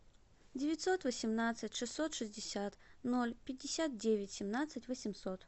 девятьсот восемнадцать шестьсот шестьдесят ноль пятьдесят девять семнадцать восемьсот